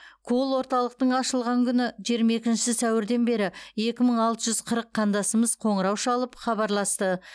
колл орталықтың ашылған күні жиырма екінші сәуірден бері екі мың алты жүз қырық қандасымыз қоңырау шалып хабарласты